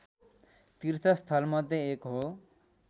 तीर्थ स्थलमध्ये एक हो